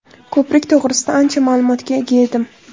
Ko‘prik to‘g‘risida ancha ma’lumotga ega edim.